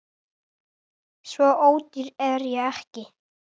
Svo ódýr er ég ekki